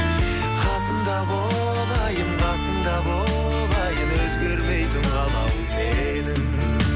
қасымда бол айым қасымда бол айым өзгермейтін қалауым менің